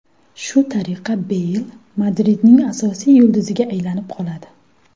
Shu tariqa Beyl Madridning asosiy yulduziga aylanib qoladi.